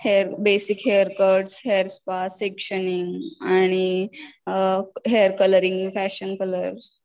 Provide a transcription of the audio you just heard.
hair basic hair cut hair spa sectioning न आणि hair colouring fashion colours